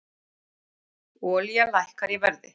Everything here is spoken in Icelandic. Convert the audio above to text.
Olía lækkar í verði